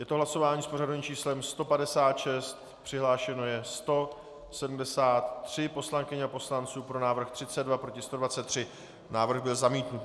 Je to hlasování s pořadovým číslem 156, přihlášeno je 173 poslankyň a poslanců, pro návrh 32, proti 123, návrh byl zamítnut.